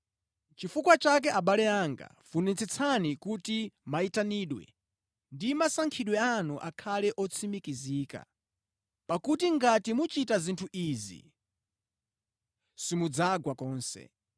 Nʼchifukwa chake abale anga, funitsitsani kuti mayitanidwe ndi masankhidwe anu akhale otsimikizika. Pakuti ngati muchita zinthu izi, simudzagwa konse.